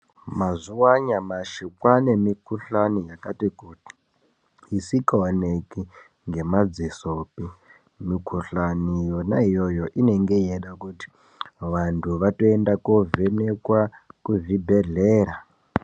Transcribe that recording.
Mazuva anyamashi kwaanemikhuhlane yakati kuti, isikaoneke ngemadzisopi. Mikhuhlani yona iyoyo inenge yeida kuti vantu vatoenda kundovhenekwa kuzvibhedhlera.